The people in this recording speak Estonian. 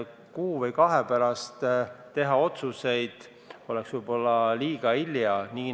Kuu või kahe pärast otsuseid teha oleks võib-olla liiga hilja.